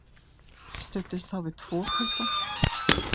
Studdist þá við tvo putta.